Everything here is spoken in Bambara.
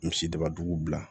Misidabadugu bila